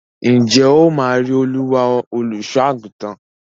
Ǹjẹ́ ó máa rí Olúwa, olùsọ́-àgùntàn?